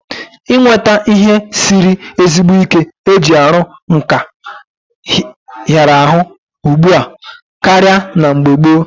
Inweta ihe siri ezigbo ike eji aru nka hiara ahu ugbua karia na mgbe gboo